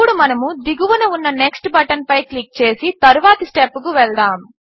ఇప్పుడు మనము దిగువన ఉన్న నెక్స్ట్ బటన్పై క్లిక్ చేసి తరువాత స్టెప్కు వెళ్దాము